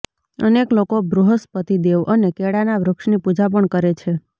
અનેક લોકો બૃહસ્પતિદેવ અને કેળાના વૃક્ષની પૂજા પણ કરે છે